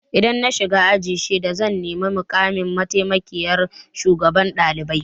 Idan na shiga aji shida zan nemi mukamin mataimakiyyar shugaban ɗalibai.